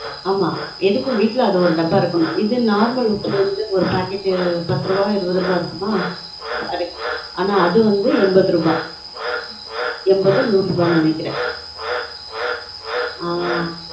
on ஆமா எதுக்கும் வீட்ல அது ஒரு டப்பா இருக்கனும் இது normal உப்பு வந்து ஒரு packet பத்து ரூபா இருவது ரூபா இருக்குமா அரை ஆனா அது வந்து எண்பது ரூபா எண்பது நூறு ரூபா நெனைக்கிறன்